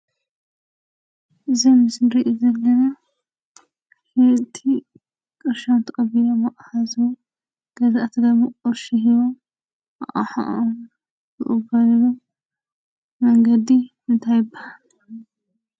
ዘምስሪ ዘንን ኪቲ ቀሻንተቢሎ መኣሃዙ ገዘኣቲ ገሙ ቕርሺ ሕዩ ።ኣሓኡበሉ መንገዲ እንታ ይበሃል?